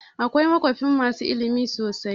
Akwai makafi masu ilimi sosai.